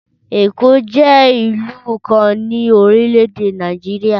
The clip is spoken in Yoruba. Ẹ̀kọ́ jẹ́ ìlú kan ni orílẹ̀-èdè Nàìjíríà